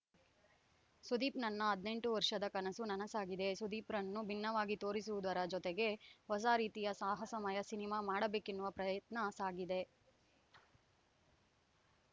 ಸುದೀಪ್‌ ನನ್ನ ಹದಿನೆಂಟು ವರ್ಷದ ಕನಸು ನನಸಾಗಿದೆ ಸುದೀಪ್‌ರನ್ನು ಭಿನ್ನವಾಗಿ ತೋರಿಸುವುದರ ಜೊತೆಗೆ ಹೊಸ ರೀತಿಯ ಸಾಹಸಮಯ ಸಿನಿಮಾ ಮಾಡಬೇಕೆನ್ನುವ ಪ್ರಯತ್ನ ಸಾಗಿದೆ